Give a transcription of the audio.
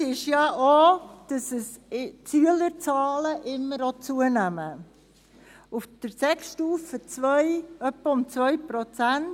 Ausschlaggebend ist zum einen auch, dass auch die Schülerzahlen immer zunehmen, auf Sek-Stufe II etwa um 2 Prozent.